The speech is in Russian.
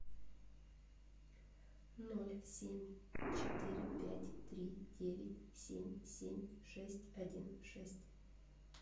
ноль семь четыре пять три девять семь семь шесть один шесть